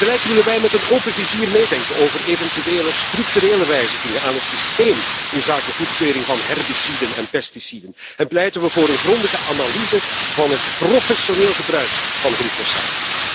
Tegelijk willen wij met een open vizier meedenken over eventuele structurele wijzigingen van het systeem inzake goedkeuring van herbiciden en pesticiden en pleiten we voor een grondige analyse van het professioneel gebruik van glyfosaat.